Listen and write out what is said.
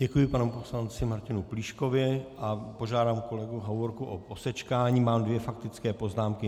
Děkuji panu poslanci Martinu Plíškovi a požádám kolegu Hovorku o posečkání, mám dvě faktická poznámky.